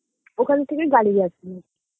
ওখান থেকে গাড়ি গেছিল